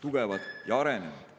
tugevad ja arenenud.